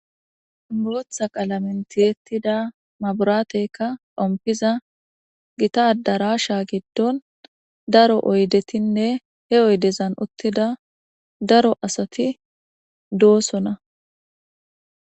Botha qalamen tiyetida mabirateyka xofiza Gita adarasha gidon daro oydetine he oydezan utida daro asati dosona